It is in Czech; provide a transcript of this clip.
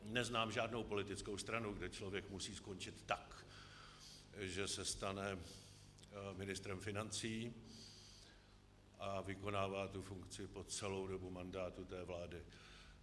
Neznám žádnou politickou stranu, kde člověk musí skončit tak, že se stane ministrem financí a vykonává tu funkci po celou dobu mandátu té vlády.